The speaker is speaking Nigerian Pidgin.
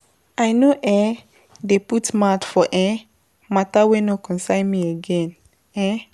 I no um dey put mouth for um mata wey no concern my again. um